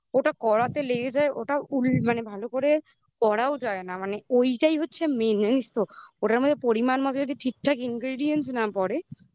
ওটা করাতে লেগে যায় ওটা ভালো করে করাও যায় না ওটাই মেন জানিস তো ওটার মধ্যে পরিমান মতো যদি ঠিকঠাক ingredients না পড়ে